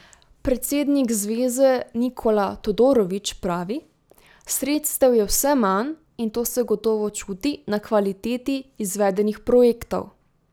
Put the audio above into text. Predsednik Zveze Nikola Todorović pravi: 'Sredstev je vse manj in to se gotovo čuti na kvaliteti izvedenih projektov.